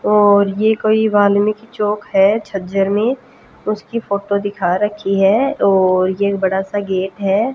और ये कोई वाल्मीकि चौक है झज्जर में उसकी फोटो दिखा रखी है और ये एक बड़ा सा गेट है।